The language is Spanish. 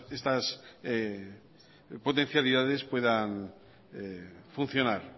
estas potencialidades puedan funcionar